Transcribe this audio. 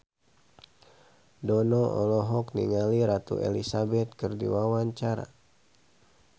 Dono olohok ningali Ratu Elizabeth keur diwawancara